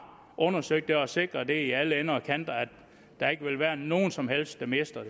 undersøgt det og sikret i alle ender og kanter at der ikke vil være nogen som helst der mister